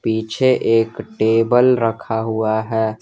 पीछे एक टेबल रखा हुआ है।